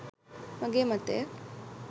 මගේ මතය.